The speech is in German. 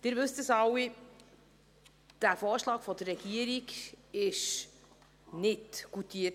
Sie wissen es alle: Dieser Vorschlag der Regierung wurde nicht goutiert.